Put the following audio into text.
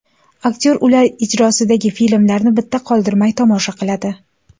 Aktyor ular ijrosidagi filmlarni bitta qoldirmay tomosha qiladi.